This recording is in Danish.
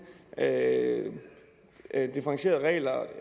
at at differentiere reglerne